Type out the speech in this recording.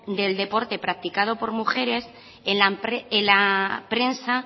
del deporte practicado por mujeres en la prensa